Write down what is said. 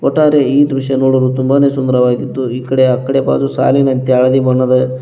ಒಟ್ಟಾರೆ ಈ ದೃಶ್ಯ ನೋಡಲು ತುಂಬಾನೆ ಸುಂದರವಾಗಿದ್ದು ಈಕಡೆ ಅಕಡೆ ಪಾಲು ಸಾಲಿನಂತೆ ಹಳದಿ ಬಣ್ಣದ --